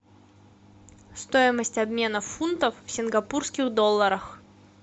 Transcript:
стоимость обмена фунтов в сингапурских долларах